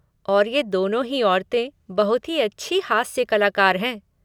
और ये दोनों ही औरतें, बहुत ही अच्छी हास्य कलाकार हैं।